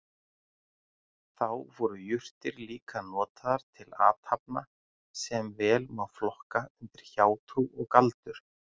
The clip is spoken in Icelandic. Þá voru jurtir líka notaðar til athafna sem vel má flokka undir hjátrú og galdur.